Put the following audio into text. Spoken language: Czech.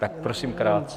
Tak, prosím, krátce.